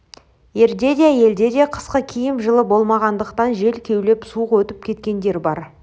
ерде де әйелде де қысқы киім жылы болмағандықтан жел кеулеп суық өтіп кеткендер бар